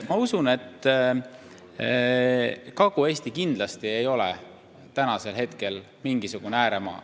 Ma usun, et Kagu-Eesti ei ole täna kindlasti mingisugune ääremaa.